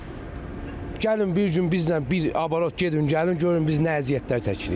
Yəni gəlin bir gün bizlə bir abrot gedin gəlin, görün biz nə əziyyətlər çəkirik.